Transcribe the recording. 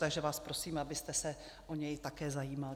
Takže vás prosím, abyste se o něj také zajímal.